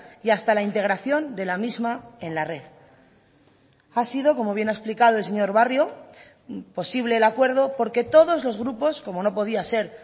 y hasta la integración de la misma en la red ha sido como bien ha explicado el señor barrio posible el acuerdo porque todos los grupos como no podía ser